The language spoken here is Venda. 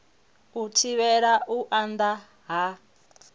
u thivhela u anda ha